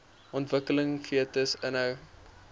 ontwikkelende fetus inhou